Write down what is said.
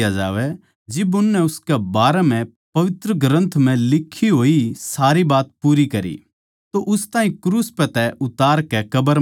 जिब उननै उसकै बारै म्ह पवित्र ग्रन्थ लिक्खी होई सारी बात पूरी करी तो उस ताहीं क्रूस पै तै उतारकै कब्र म्ह धरया